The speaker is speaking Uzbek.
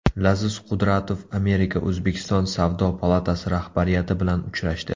Laziz Qudratov Amerika O‘zbekiston savdo palatasi rahbariyati bilan uchrashdi.